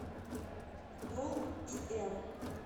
долл и эм